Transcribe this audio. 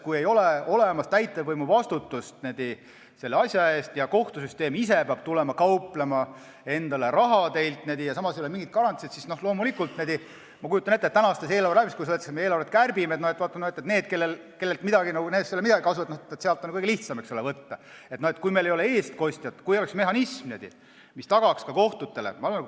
Kui ei ole täitevvõimu vastutust selle asja eest ja kohtusüsteem ise peab tulema kauplema teilt endale raha, aga ei ole mingeid garantiisid, siis ma kujutan ette, et kui meil ei ole eestkostjat, kui ei ole mehhanismi, mis tagaks kohtutele raha, siis eelarveläbirääkimistel, kui eelarvet kärbitakse, öeldakse, et nendest ei ole midagi kasu, sealt on kõige lihtsam võtta.